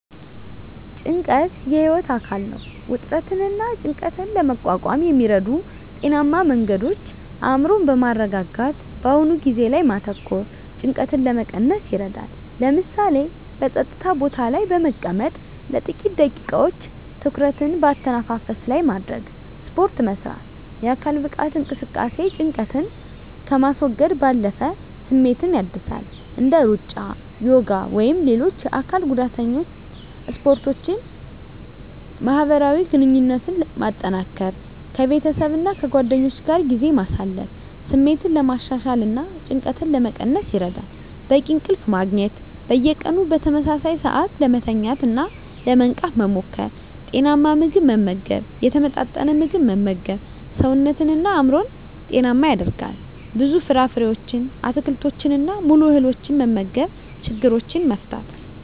ጭንቀት የህይወት አካል ነው። ውጥረትንና ጭንቀትን ለመቋቋም የሚረዱ ጤናማ መንገዶች አእምሮን በማረጋጋት በአሁኑ ጊዜ ላይ ማተኮር ጭንቀትን ለመቀነስ ይረዳል። ለምሳሌ፣ በጸጥታ ቦታ ላይ በመቀመጥ ለጥቂት ደቂቃዎች ትኩረትን በአተነፋፈስ ላይ ማድረግ። ስፖርት መስራት: የአካል ብቃት እንቅስቃሴ ጭንቀትን ከማስወገድ ባለፈ ስሜትን ያድሳል። እንደ ሩጫ፣ ዮጋ ወይም ሌሎች የአካል ጉዳተኛ ስፖርቶችን ማህበራዊ ግንኙነትን ማጠናከር ከቤተሰብና ከጓደኞች ጋር ጊዜ ማሳለፍ ስሜትን ለማሻሻልና ጭንቀትን ለመቀነስ ይረዳል። በቂ እንቅልፍ ማግኘት። በየቀኑ በተመሳሳይ ሰዓት ለመተኛትና ለመንቃት መሞከር። ጤናማ ምግብ መመገብ የተመጣጠነ ምግብ መመገብ ሰውነትንና አእምሮን ጤናማ ያደርጋል። ብዙ ፍራፍሬዎችን፣ አትክልቶችንና ሙሉ እህሎችን መመገብ። ችግሮችን መፍታት።